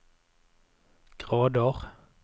grader